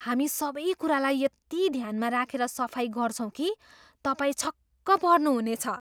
हामी सबै कुरालाई यति ध्यानमा राखेर सफाइ गर्छौँ कि तपाईँ छक्क पर्नुहुनेछ।